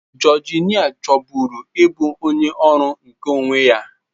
Georgina chọburu ịbụ onye ọrụ nke onwe ya.